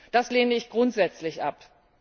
Das lehne ich grundsätzlich ab.